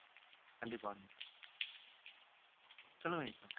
கண்டிப்பா வினிதா சொல்லுங்க வினிதா